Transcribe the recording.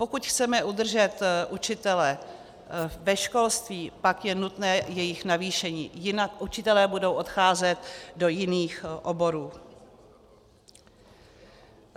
Pokud chceme udržet učitele ve školství, pak je nutné jejich navýšení, jinak učitelé budou odcházet do jiných oborů.